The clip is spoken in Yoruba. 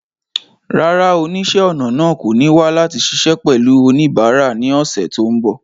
Rárá, oníṣẹ́-ọnà náà kò ní wà láti ṣiṣẹ́ pẹ̀lú oníbàárà ní ọ̀sẹ̀ tó ń bọ̀.